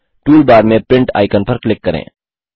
toolbar में print icon पर click करें